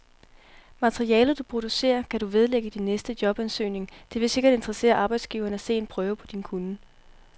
Materialet, du producerer, kan du vedlægge din næste jobansøgning, det vil sikkert interessere arbejdsgiveren at se en prøve på din kunnen.